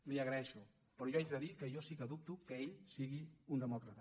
li ho agraeixo però jo haig de dir que jo sí que dubto que ell sigui un demòcrata